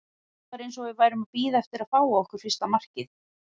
Það var eins og við værum að bíða eftir að fá á okkur fyrsta markið.